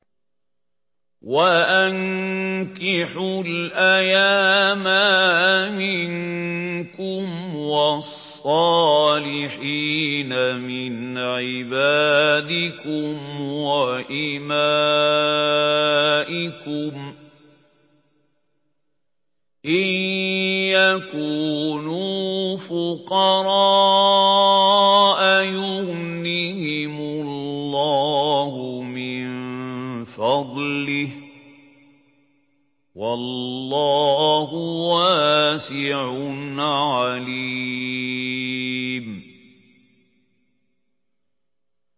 وَأَنكِحُوا الْأَيَامَىٰ مِنكُمْ وَالصَّالِحِينَ مِنْ عِبَادِكُمْ وَإِمَائِكُمْ ۚ إِن يَكُونُوا فُقَرَاءَ يُغْنِهِمُ اللَّهُ مِن فَضْلِهِ ۗ وَاللَّهُ وَاسِعٌ عَلِيمٌ